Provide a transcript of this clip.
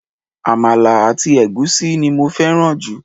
Àmàlà àti ègúsí ni mo féràn jù